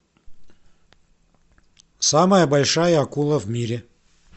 самая большая акула в мире